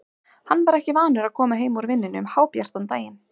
Hann var ekki vanur að koma heim úr vinnunni um hábjartan daginn.